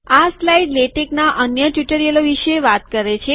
આ સ્લાઇડ લેટેકના અન્ય ટ્યુટોરિયલો વિશે વાત કરે છે